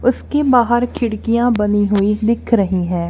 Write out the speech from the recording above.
उसके बाहर खिड़कियां बनी हुई दिख रही है।